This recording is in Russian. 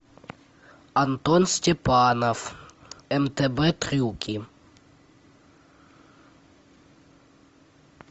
антон степанов мтв трюки